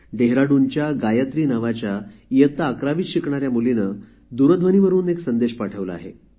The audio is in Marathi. डेहराडूनच्या गायत्री नावाच्या इयत्ता अकरावीत शिकणाऱ्या मुलीने दूरध्वनीवर बोलल्यानंतर एक संदेश पाठवला आहे